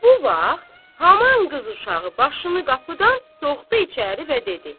Bu vaxt haman qız uşağı başını qapıdan soxdu içəri və dedi: